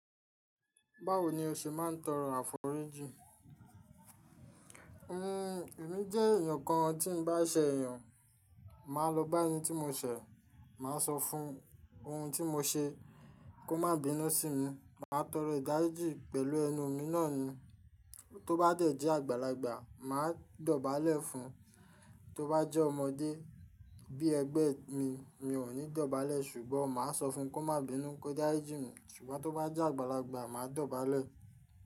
Báwo ni o ṣe máa ń tọrọ àforíjì? Èmi jẹ́ èèyàn kan tí n bá ṣẹ èèyàn, màá lọ bá ẹni tí mo ṣẹ, màá sọ fún ohun tí mo ṣe kó má bínú sí mi, màá tọrọ ìdájí pẹ̀lú ẹnu mi náà ni. Tó bá dẹ̀ jẹ́ àgbàlagbà, màá dọ̀bálẹ̀ fún un, tó bá jẹ́ ọmọdé bí ẹgbẹ́ mi, mi ò ní dọ̀bálẹ̀ ṣùgbọ́n màá sọ fún un kó má bínú, kó dáríjì mí ṣùgbọ́n tó bá jẹ́ àgbàlagbà, màá dọ̀bálẹ̀